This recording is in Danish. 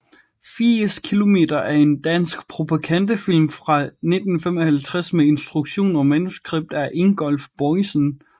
80 kilometer er en dansk propagandafilm fra 1955 med instruktion og manuskript af Ingolf Boisen